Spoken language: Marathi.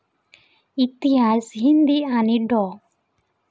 इतिहास, हिंदी आणि डॉ.